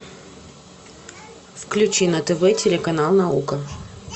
включи на тв телеканал наука